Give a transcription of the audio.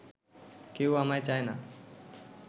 কেউ আমায় চায় না